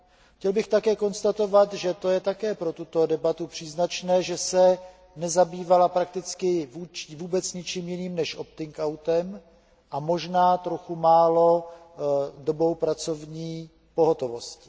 Chtěl bych také konstatovat, že je pro tuto debatu příznačné, že se nezabývala prakticky vůbec ničím jiným než opting outem a možná trochu málo dobou pracovní pohotovosti.